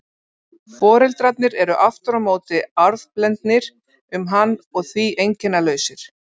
Foreldrarnir eru aftur á móti arfblendnir um hann og því einkennalausir.